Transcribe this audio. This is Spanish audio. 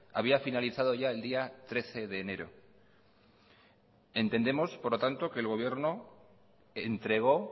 había finalizado ya el día trece de enero entendemos por lo tanto que el gobierno entregó